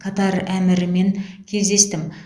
катар әмірімен кездестім